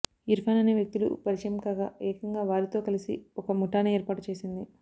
ఇర్ఫాన్ అనే వ్యక్తులు పరిచయం కాగా ఏకంగా వారితో కలిసి ఒక ముఠానే ఏర్పాటు చేసింది